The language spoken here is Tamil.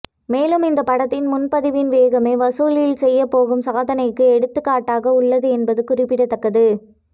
மேலும் இந்த படத்தின் முன்பதிவின் வேகமே வசூலில் செய்யப்போகும் சாதனைக்கு எடுத்துக்காட்டாக உள்ளது என்பது குறிப்பிடத்தக்கது